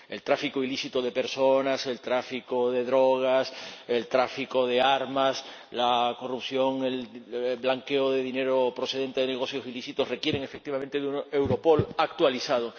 El tráfico ilícito de personas, el tráfico de drogas, el tráfico de armas, la corrupción, el blanqueo de dinero procedente de negocios ilícitos requieren efectivamente un Europol actualizado.